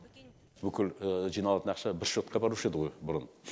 бүкіл жиналатын ақша бір шотқа барушы еді ғой бұрын